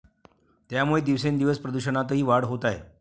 त्यामुळे दिवसेंदिवस प्रदूषणातही वाढ होत आहे.